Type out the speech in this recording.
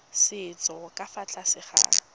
setso ka fa tlase ga